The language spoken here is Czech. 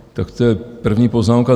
Tak to je první poznámka.